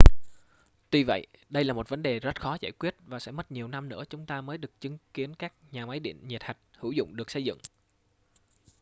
tuy vậy đây là một vấn đề rất khó giải quyết và sẽ mất nhiều năm nữa chúng ta mới được chứng kiến các nhà máy điện nhiệt hạch hữu dụng được xây dựng